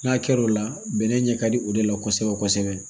N'a kɛr'o la bɛnɛ ɲɛ ka di o de la kosɛbɛ kosɛbɛ